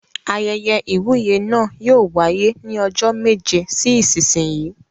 Ayẹyẹ ìwúyè náà yóò wáyé ní ọjọ́ méje sí ìsinsìnyí.